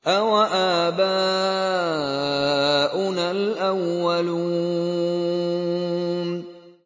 أَوَآبَاؤُنَا الْأَوَّلُونَ